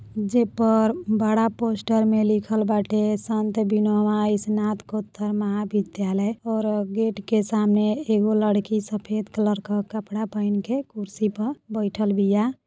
जे पर बड़ा पोस्टर में लिखल बाटे सन्त विनोबा स्नातकोत्तर महाविद्यालय और गेट के सामने एगो लड़की सफेद कलर का कपड़ा पहिन के कुर्सी पर बैठल बिया।